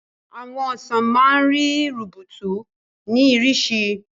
Àwọn ọsàn máa ń rí rubutu ní ìrísí.